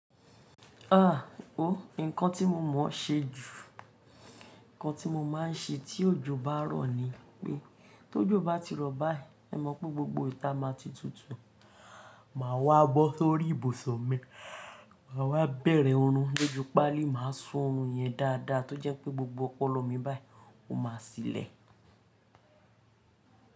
Nǹkan tí mo mọ̀ ṣe jù, nǹkan tí mo máa ń ṣe tí òjò bá rọ̀ ni pé tó jọ bá ti rọ̀ báyìí, ẹ mọ̀ pé gbogbo ìta má a ti tutù, màá wá bọ́ sórí ibùsọ̀ mi, màá wá bẹ̀rẹ̀ oorun lójú páálí, màá sún oorun yẹn dáadáa tó jẹ́ pé gbogbo ọpọlọ mi báyìí ó máa sílẹ̀.